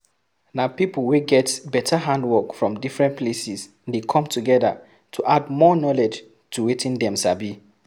Na pipo wey get better handwork from different places de come together to add more knowlwdge to wetin dem sabi